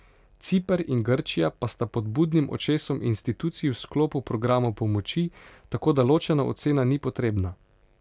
Ciper in Grčija pa sta pod budnim očesom institucij v sklopu programov pomoči, tako da ločena ocena ni potrebna.